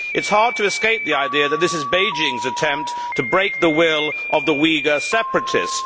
It is hard to escape the idea that this is Beijing's attempt to break the will of the Uyghur separatists.